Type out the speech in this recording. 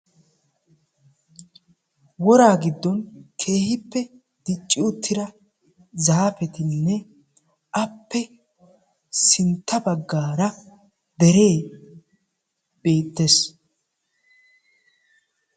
Woraa giddon keehippe dicci uttida zaapettinne appe sintta baggaara deree beettees.